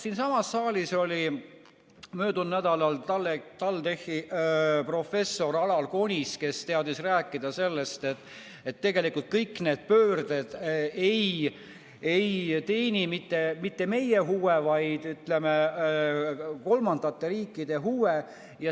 Siinsamas saalis oli möödunud nädalal TalTechi professor Alar Konist, kes teadis rääkida sellest, et tegelikult kõik need pöörded ei teeni mitte meie huve, vaid, ütleme, kolmandate riikide huve.